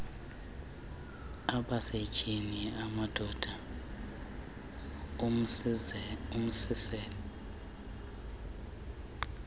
abasetyhini amadoda umlisela